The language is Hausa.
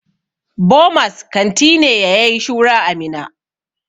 Bomas kanti ne ya yayi shura a Minna.